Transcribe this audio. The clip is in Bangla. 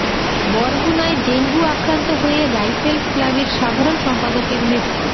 বরগুনায় ডেঙ্গু আক্রান্ত হয়ে রাইফেলস ক্লাবের সাধারণ সম্পাদকের মৃত্যু